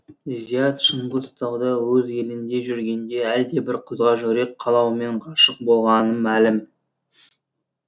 зият шыңғыстауда өз елінде жүргенде әлдебір қызға жүрек қалауымен ғашық болғаны мәлім